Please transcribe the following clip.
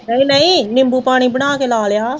ਨਹੀਂ ਨਹੀਂ ਨੀਂਬੂ ਪਾਣੀ ਬਣਾ ਕੇ ਲਾ ਲਿਆ।